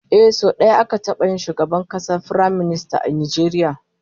Ehh, sau daya aka taba yin shugaban kasa Firaminista a Najeriya